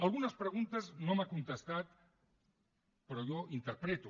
algunes preguntes no me les ha contestat però jo ho interpreto